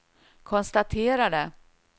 konstaterade